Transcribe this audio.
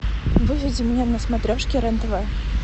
выведи мне на смотрешке рен тв